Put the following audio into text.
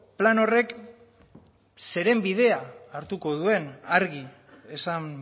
plan horrek zeren bidea hartuko duen argi esan